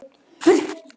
Fyrir skatt.